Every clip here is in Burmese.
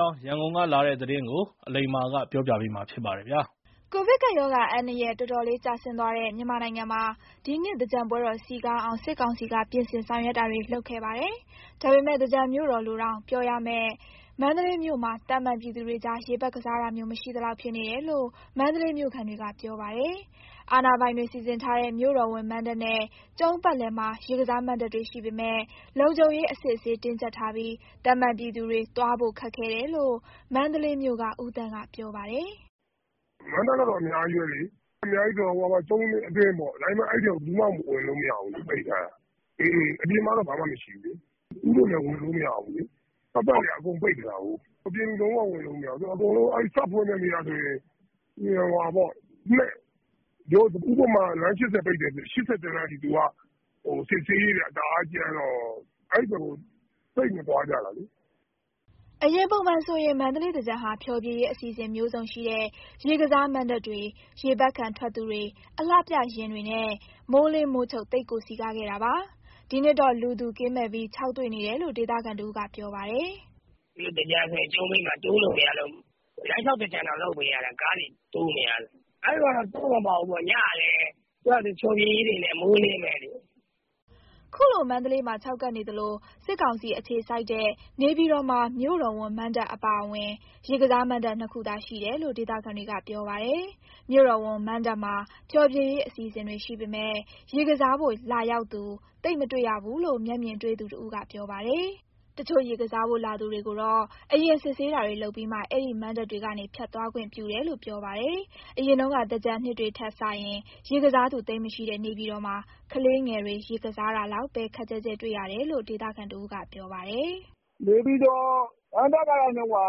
ောင်း ရန်ကုန်ကလာတဲ့သတင်းကို အလိမ္မာက တင်ပြပေးထားပါတယ်။ ကိုဗစ်ကပ်ရောဂါအန္တရာယ် တော်တော်လေးကျဆင်းသွားတဲ့ မြန်မာနိုင်ငံမှာ ဒီနှစ် သင်္ကြန်ပွဲတော်စည်ကားအောင် စစ်ကောင်စီက ပြင်ဆင်ဆောင်ရွက်ခဲ့ပါတယ်။ ဒါပေမဲ့ သင်္ကြန်မြို့တော်လို့တောင် ပြောရမယ့် မန္တလေးမြို့မှာ သာမန်ပြည်သူတွေကြား ရေပက်ကစားတာမျိုး မရှိသလောက်ဖြစ်နေတယ်လို့ မန္တလေးမြို့ခံတွေကပြောပါတယ်။ အာဏာပိုင်တွေ စီစဉ်ထားတဲ့ မြို့တော်ဝန်မဏ္ဍပ်နဲ့ ကျုံးပတ်လည်မှာ ရေကစားမဏ္ဍပ်တွေရှိပေမယ့် လုံခြုံရေးအစစ်အဆေး တင်းကြပ်ထားပြီး သာမန်ပြည်သူတွေ သွားဖို့ခက်ခဲတယ်လို့ မန္တလေးမြို့က ဦးသန့်ကပြောပါတယ်။ "မဏ္ဍပ်ကတော့ အများကြီးပဲလေ။ အများကြီးဆိုတာ ကျုံးအတွင်းပေါ့။ ဒါပေမယ့် အဲဒီအထဲကို ဘယ်သူမှဝင်လို့မရဘူး ပိတ်ထား တာ။ အပြင်မှာတော့ ဘာမှမရှိဘူးလေ။ ဦးတို့လည်း ဝင်လို့မရဘူးလေ။ ပတ်ပတ်လည်က အကုန်ပိတ်ထားတာကို။ အပြင်လူ တောင်မှ ဝင်လို့မရဘူး။ သူကစဖွင့်တဲ့နေ့ကဆိုရင် ဥပမာ လမ်း ၈၀ ပိတ်တယ်ဆိုရင် ၈၁ လမ်းထိ သူက စစ်ဆေးရေးတွေက တအားကြမ်းတော့ အဲဒီဘက်ကို သိပ်မသွားကြတာလေ။" အရင်ပုံမှန်ဆိုရင် မန္တလေးသင်္ကြန်ဟာ ဖျော်ဖြေရေးအစီအစဉ်မျိုးစုံရှိတဲ့ ရေကစားမဏ္ဍပ်တွေ၊ ရေပက်ခံထွက်သူတွေ၊ အလှပြယာဉ် တွေနဲ့ မိုးလင်းမိုးချုပ် သိပ်ကိုစည်ကားခဲ့တာပါ။ ဒီနှစ်တော့ လူသူကင်းမဲ့ပြီး ခြောက်သွေ့နေတယ်လို့ ဒေသခံတဦးက ပြောပါ တယ်။ "အရင်တုန်းက သင်္ကြန်ဆိုရင် ကျုံးဘေးမှာ တိုးလို့တောင် မရတော့ဘူး။ လမ်းလျှောက်သင်္ကြန်တောင် လုပ်ပေးရတယ် ကားတွေ တိုးမရလို့။ အဲတုန်းကတော့ တိုးမပေါက်ဘူးပေါ့။ ညဘက်ဆိုလည်း သူ့ဟာသူ ဖျော်ဖြေရေးတွေနဲ့ မိုးအလင်းပဲလေ။" ခုလို မန္တလေးမြို့မှာ ခြောက်ကပ်နေသလို စစ်ကောင်စီအခြေစိုက်တဲ့ နေပြည်တော်မှာ မြို့တော်ဝန်မဏ္ဍပ်အပါအဝင် ရေကစား မဏ္ဍပ် နှစ်ခုသာရှိတယ်လို့ ဒေသခံတွေကပြောပါတယ်။ မြို့တော်ဝန်မဏ္ဍပ်မှာ ဖျော်ဖြေရေးအစီအစဉ်တွေရှိပေမယ့် ရေကစားဖို့ေ ရာက်လာသူ သိပ်မတွေ့ရဘူးလို့ မျက်မြင်တွေ့သူတဦးက ပြောပါတယ်။ တချို့ရေကစားဖို့ လာသူတွေကိုတော့ အရင် စစ်ဆေးပြီး မှ အဲဒီမဏ္ဍပ်တွေကနေ ဖြတ်သွားခွင့်ပြုတယ်လို့ ပြောပါတယ်။ အရင် သင်္ကြန်နှစ်တွေကထက်စာရင် ရေကစားသူသိပ်မရှိတော့တဲ့ နေပြည်တော်မှာ ကလေးငယ်တွေ ရေကစားတာလောက်ပဲ ခပ်ကျဲကျဲတွေ့ရတော့တယ်လို့ ဒေသခံတဦးက ပြောပါတယ်။ "နေပြည်တော်မဏ္ဍပ်ကတော့ နှစ်မဏ္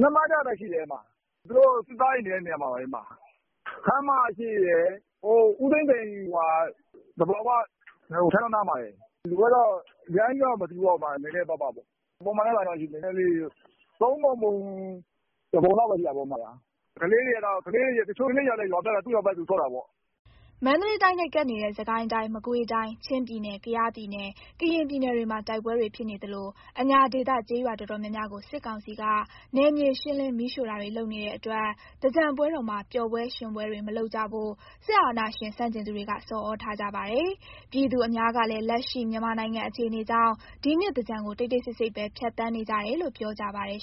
ဍပ်ပဲရှိတယ်။ သူတို့ စစ်သားတွေနေတဲ့ နေရာမှာပဲ။ ခန်းမရှေ့ရယ်၊ ဦးသိန်းစိန်... သဘာဝ ထန်းတောနားမှာရယ်။ လူကတော့ အရမ်းကြီးတော့ မစည်ဘူးပေါ့ နည်းနည်းပါးပါးပေါ့။ အရင်ကထက်စာရင်တော့ သုံးပုံပုံ တပုံ လောက်ပဲ ရှိတာပေါ့။ တချို့ကလေးတွေကတော့ သူ့ရွာဘက်သူ ဆော့တာပေါ့။" မန္တလေးတိုင်းနဲ့ကပ်နေတဲ့ စစ်ကိုင်းတိုင်း၊ မကွေးတိုင်း၊ ချင်းပြည်နယ်၊ ကယားပြည်နယ်၊ ကရင်ပြည်နယ်တွေမှာ တိုက်ပွဲတွေဖြစ်နေ သလို အညာဒေသ ကျေးရွာတော်တော်များများကို စစ်ကောင်စီက နယ်မြေရှင်းလင်း မီးရှို့တာတွေလုပ်နေတဲ့အတွက် သင်္ကြန်ပွဲ တော်မှာ ပျော်ပွဲရွင်ပွဲတေ မလုပ်ကြဖို့ စစ်အာဏာရှင်ဆန့်ကျင်သူတွေက ဆော်သြထားကြပါတယ်။ ပြည်သူအများစုကလည်း လက်ရှိမြန်မာနိုင်ငံအခြေအနေကြောင့် ဒီနှစ်သင်္ကြန်ကို တိတ်တိတ်ဆိတ်ဆိတ်ပဲ ဖြတ်သန်းနေကြတယ်လို့ ပြောကြပါတယ်